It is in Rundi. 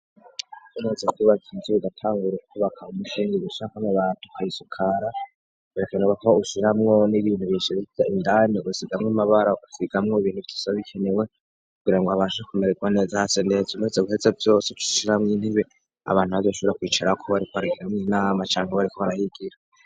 Umuze kubaza inzure igatangura ukubaka mumukenge gishakamwe batu karisukara berekana bakaba gushiramwo n'ibintu bishirivya indani usigamwo amabara kusigamwo ibintu vyisa bikenewe kugira ngo abasha kumererwa neza hase neza umeze guheze vyose cushiramwo intibe abantu abadbshubura kwicara ko bariko aragiramwo inama canke bariko barahigira.